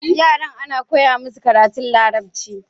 Yaran ana koya musu karanta larabci